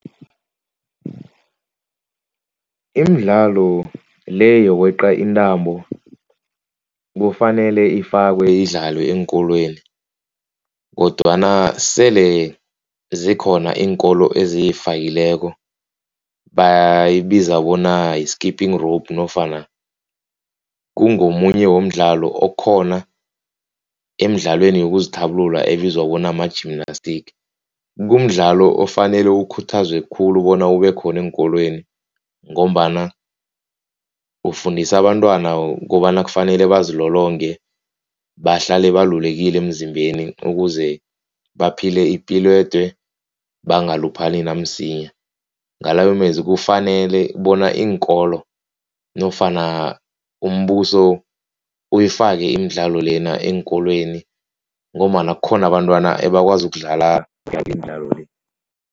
Imidlalo le yokweqa intambo, kufanele ifakwe idlalwe eenkolweni. Kodwana sele zikhona iinkolo eziyifakileko bayibiza bona yi-skipping rope nofana kungomunye womdlalo okhona emidlalweni yokuzithabulula ebizwa bona ma-gymnastics. Kumdlalo ofanele ukhuthazwe khulu bona ube khona eenkolweni. Ngombana ufundisa abantwana kobana kufanele bazilolonge. Bahlale balulekile emzimbeni ukuze baphile ipilo ede bangaluphali namsinya. Ngalawo mezwi kufanele bona iinkolo nofana umbuso uyifake imidlalo lena eenkolweni ngombana kukhona abantwana abakwazi ukudlala imidlalo le.